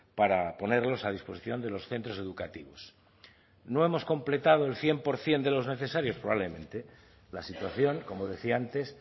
para ponerlos a disposición de los centros educativos no hemos completado el cien por ciento de los necesarios probablemente la situación como decía antes